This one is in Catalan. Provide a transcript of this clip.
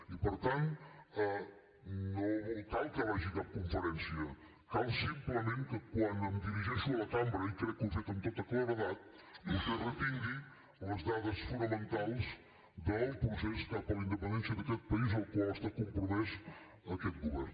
i per tant no cal que vagi a cap conferència cal simplement que quan em dirigeixo a la cambra i crec que ho he fet amb tota claredat vostè retingui les dades fonamentals del procés cap a la independència d’aquest país en el qual està compromès aquest govern